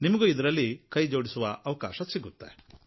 ನಿಮಗೂ ಇದರಲ್ಲಿ ಕೈಜೋಡಿಸುವ ಅವಕಾಶ ಸಿಗುತ್ತೆ